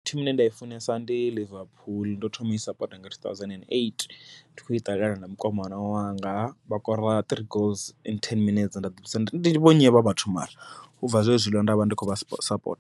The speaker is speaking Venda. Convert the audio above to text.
Thimu ine nda i funesa ndi Liverpool ndo thoma ui sapota nga two thousand and eight ndi khou i ṱalela na mukomana wanga, vha kora three goals in ten minutes nda ḓivhudzisa ndi vho nnyi avha vhathu mara, ubva zwezwiḽa ndavha ndi kho vha sapota.